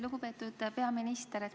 Lugupeetud peaminister!